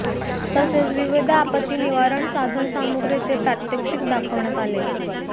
तसेच विविध आपत्ती निवारण साधन सामुग्रीचे प्रात्यक्षिक दाखवण्यात आले